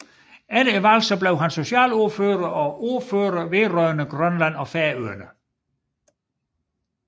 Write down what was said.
Efter valget blev han socialordfører og ordfører vedrørende Grønland og Færøerne